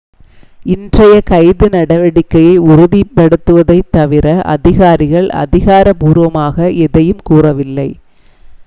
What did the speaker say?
இன்றைய கைது நடவடிக்கையை உறுதிப்படுத்தியதைத் தவிர அதிகாரிகள் அதிகாரப்பூர்வமாக எதையும் கூறவில்லை